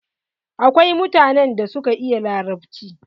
Akwai mutanen da suka iya larabci.